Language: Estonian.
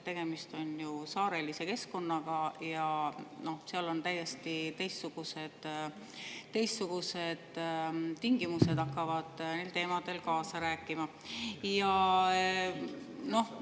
Tegemist on ju saarelise keskkonnaga ja seal hakkavad täiesti teistsugused tingimused neil teemadel kaasa rääkima.